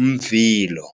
umvilo.